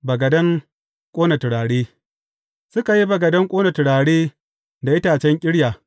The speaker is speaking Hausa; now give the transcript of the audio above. Bagaden ƙona turare Suka yi bagaden ƙona turare da itacen ƙirya.